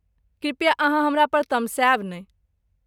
कृपया अहाँ हमरा पर तमसायब नहि।